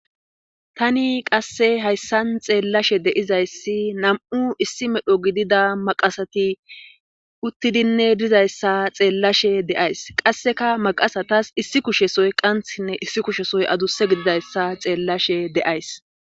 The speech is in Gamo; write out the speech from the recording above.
tani qasse hayssan xeellashe de'izayssi nam7u issi medho gidida maqasati uttidinne dizayssa xeellashe deays qasseka maqasatas issi kushesoy qanthinne issi kushesoy aduse gididayssa xeellashe de'aysi